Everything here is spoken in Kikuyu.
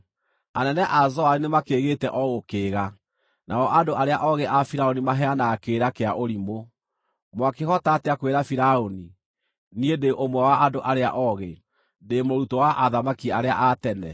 Anene a Zoani nĩmakĩĩgĩte o gũkĩĩga; nao andũ arĩa oogĩ a Firaũni maheanaga kĩrĩra kĩa ũrimũ. Mwakĩhota atĩa kwĩra Firaũni, “Niĩ ndĩ ũmwe wa andũ arĩa oogĩ, ndĩ mũrutwo wa athamaki arĩa a tene?”